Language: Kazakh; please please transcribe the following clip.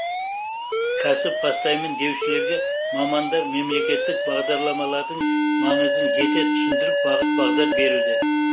кәсіп бастаймын деушілерге мамандар мемлекеттік бағдарламалардың маңызын жете түсіндіріп бағыт бағдар беруде